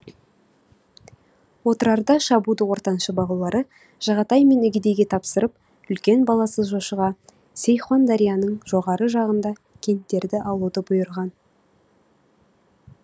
отырарды шабуды ортаншы балалары жағатай мен үгедейге тапсырып үлкен баласы жошыға сейхундарияның жоғары жағында кенттерді алуды бұйырған